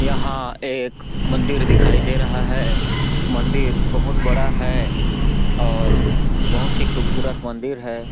यहाँ एक मंदिर दिखाई दे रहा है मंदिर बहुत बड़ा है और बहुत ही खूबसूरत मंदिर हैं।